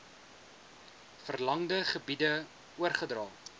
verlangde gebiede oorgedra